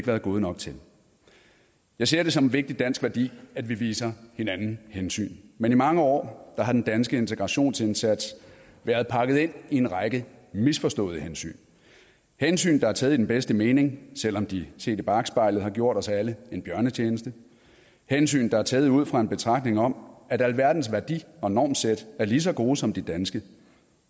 været gode nok til jeg ser det som en vigtig dansk værdi at vi viser hinanden hensyn men i mange år har den danske integrationsindsats været pakket ind i en række misforståede hensyn hensyn der er taget i den bedste mening selv om de set i bakspejlet har gjort os alle en bjørnetjeneste hensyn der er taget ud fra en betragtning om at alverdens værdi og normsæt er lige så gode som de danske